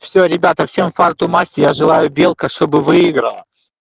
всё ребята всем фарту масти я желаю белка чтобы выиграла